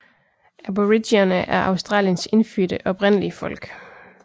Aboriginere er Australiens indfødte oprindelige folk